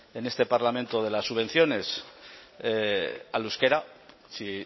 en este parlamento de las subvenciones al euskera si